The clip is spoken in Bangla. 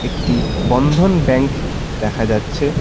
একটি বন্ধন ব্যাঙ্ক দেখা যাচ্ছে।